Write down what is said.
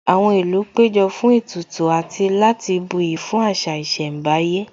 Àwọn ìlú péjọ fún ètùtù àti láti buyì fún àṣà ìṣẹ̀mbáyé